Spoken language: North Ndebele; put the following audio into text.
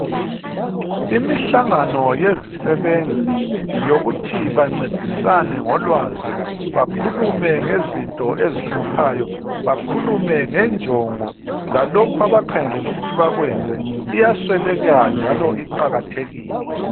Imihlangano yezisebenzi yokuthi bancedisane ngolwazi ,bakhulume ngezinto ezihluphayo, bakhulume ngenjongo lalokho abakhangelele ukuthi bakwenze iyasweleka njalo iqakathekile.